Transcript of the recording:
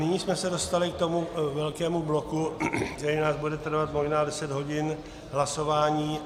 Nyní jsme se dostali k tomu velkému bloku, který nám bude trvat možná deset hodin hlasování.